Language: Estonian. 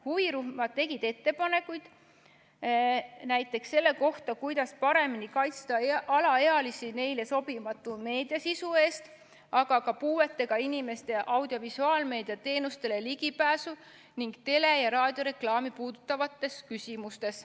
Huvirühmad tegid ettepanekuid näiteks selle kohta, kuidas paremini kaitsta alaealisi neile sobimatu meediasisu eest, aga ka puuetega inimeste audiovisuaalmeedia teenustele ligipääsu ning tele- ja raadioreklaami puudutavates küsimustes.